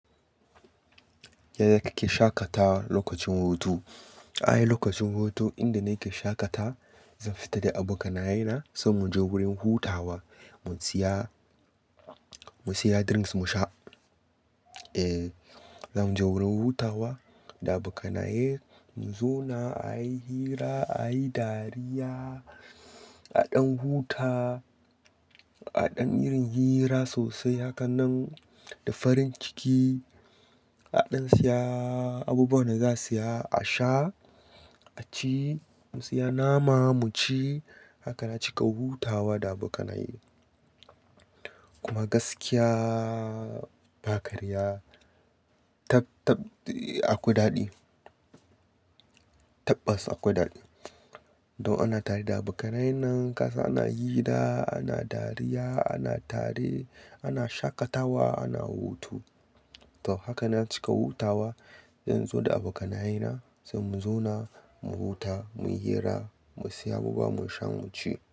Yanzu kake shaƙatawa lokacin hutu. Ai lokacin hutu inda nake shaƙata zan fita da abokanayena sai muje wurin hutawa mu siya, mu siya drinks musha. Eh, zamu je wurin hutawa da abokanaye mu zauna ayi hira, ayi dariya, a ɗan huta, a ɗan yin hira sosai hakanan da farin ciki, a ɗan siya abubuwan da za'a siya a sha, aci, mu siya nama muci. Haka na cika hutawa da abokanaye. Kuma gaskiya ba karya, akwai daɗi. Tabbas akwai daɗi. Don ina tare da abokanayennan kasan ana hira, ana dariya, ana tare, ana shaƙatawa, ana hutu. To haka na cika hutawa inzo da abokanayena sai mu zauna mu huta, mu hira, mu siya abubuwa musha muci.